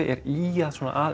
er ýjað svona að